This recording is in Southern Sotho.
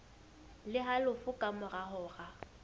le halofo ka mora hora